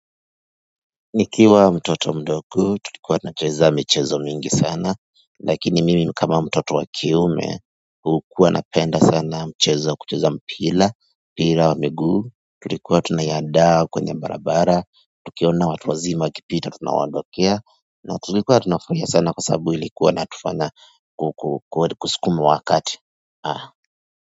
Nikiwa mtoto mdogo tulikuwa tunacheza michezo mingi sana lakini mimi kama mtoto wakiume hukuwa napenda sana mchezo kucheza mpira mpira wa miguu tulikuwa tunaiandaa kwenye barabara tukiona watu wazima wakipita tunawaondokea na tulikuwa tunafurahia sana kwa sababu ilikuwa inatufanya kusukuma wakati ah.